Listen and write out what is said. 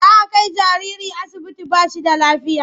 Za a kai jariri asibiti ba shi da lafiya.